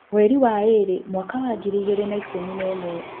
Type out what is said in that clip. Mweri wa ĩrĩ mwaka wa ngiri igĩrĩ na ikũmi na ĩmwe